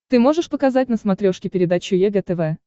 ты можешь показать на смотрешке передачу егэ тв